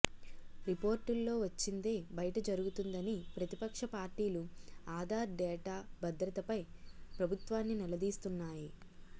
రిపోర్టుల్లో వచ్చిందే బయట జరుగుతుందని ప్రతిపక్ష పార్టీలు ఆధార్ డేటా భద్రతపై ప్రభుత్వాన్ని నిలదీస్తున్నాయి